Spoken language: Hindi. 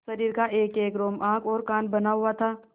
शरीर का एकएक रोम आँख और कान बना हुआ था